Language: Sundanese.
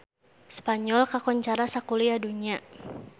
Spanyol kakoncara sakuliah dunya